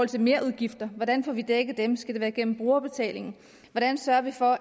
til merudgifter hvordan får vi dækket dem skal det være gennem brugerbetaling hvordan sørger vi for